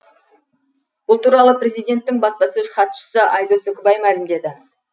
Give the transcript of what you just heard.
бұл туралы президенттің баспасөз хатшысы айдос үкібай мәлімдеді